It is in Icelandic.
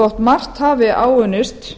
þótt margt hafi áunnist